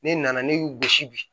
Ne nana ne y'u gosi bi